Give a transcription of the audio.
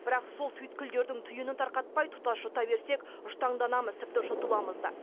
бірақ сол түйткілдердің түйінін тарқатпай тұтас жұта берсек жұтаңданамыз тіпті жұтыламыз да